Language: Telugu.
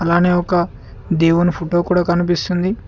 అలానే ఒక దేవుని ఫొటో కూడా కనిపిస్తుంది.